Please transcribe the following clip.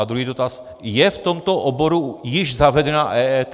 A druhý dotaz - je v tomto oboru již zavedena EET?